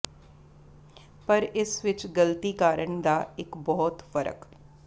ਪਰ ਇਸ ਵਿਚ ਗਲਤੀ ਕਾਰਨ ਦਾ ਇੱਕ ਬਹੁਤ ਫ਼ਰਕ